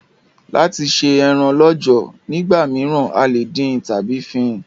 Láti se eran lọ́jọ̀ nígbà míràn, a lè dín tábí fín